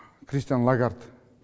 кристин лагард